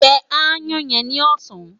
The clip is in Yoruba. Jẹ aáyán yẹn ni ọ̀sán!